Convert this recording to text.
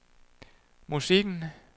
musikken